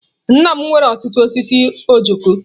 Nna m nwere ọtụtụ osisi ojoko.